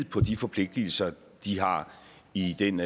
på de forpligtelser de har i den